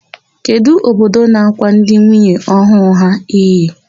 Kedụ ododo na-ákwà ndị nwunye ọhụụ ha iyi?